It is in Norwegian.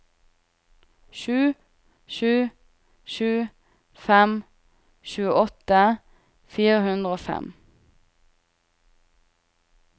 sju sju sju fem tjueåtte fire hundre og fem